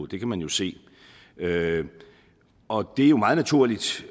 det kan man jo se og det er meget naturligt